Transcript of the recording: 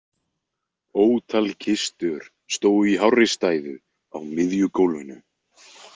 Ótal kistur stóðu í hárri stæðu á miðju gólfinu.